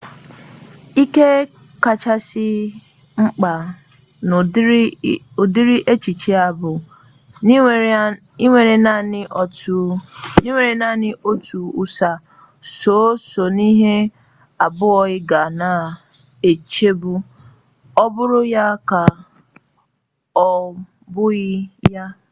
ihe kachasị mkpa n'ụdịrị echiche a bụ enwere naanị otu ụsa sọọsọ ihe abụọ ị ga na-eche bụ ọ bụ ya ka ọ bụghị ya